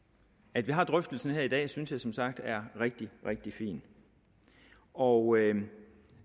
at vi har drøftelsen her i dag synes jeg som sagt er rigtig rigtig fint og